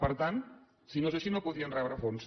per tant si no és així no podien rebre fons